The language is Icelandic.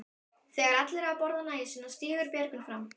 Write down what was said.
Þegar allir hafa borðað nægju sína stígur Björgvin fram.